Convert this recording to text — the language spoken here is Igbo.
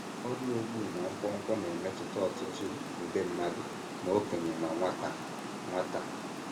Ọrịa Ogbu na Nkwonkwo na - emetụta ọtụtụ nde mmadụ ma okenye ma nwata nwata.